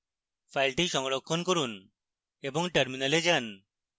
file সংরক্ষণ করুন এবং terminal যান